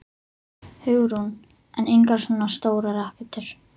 Hugrún: En engar svona stórar rakettur?